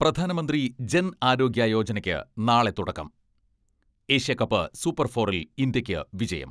പ്രധാനമന്ത്രി ജൻ ആരോഗ്യ യോജനയ്ക്ക് നാളെ തുടക്കം, ഏഷ്യാകപ്പ് സൂപ്പർ ഫോറിൽ ഇന്ത്യയ്ക്ക് വിജയം